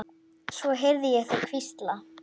Svo heyrði ég þau hvísla.